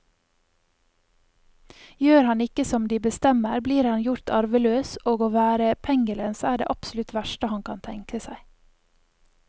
Gjør han ikke som de bestemmer, blir han gjort arveløs, og å være pengelens er det absolutt verste han kan tenke seg.